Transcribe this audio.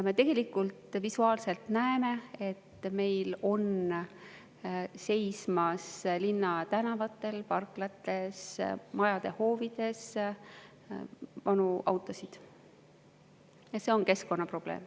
Me tegelikult visuaalselt näeme, et meil seisab linnatänavatel, parklates, majade hoovides vanu autosid, ja see on keskkonnaprobleem.